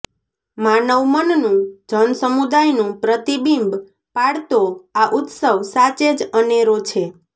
માનવમનનું જનસમુદાયનું પ્રતિબિંબ પાડતો આ ઉત્સવ સાચે જ અનેરો છે